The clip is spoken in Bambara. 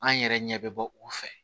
An yɛrɛ ɲɛ bɛ bɔ u fɛ